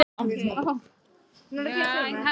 Örn settist í grasið og hugsaði málið.